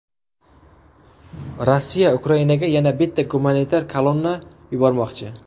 Rossiya Ukrainaga yana bitta gumanitar kolonna yubormoqchi.